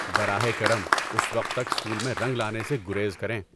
براہ کرم، اس وقت تک اسکول میں رنگ لانے سے گریز کریں۔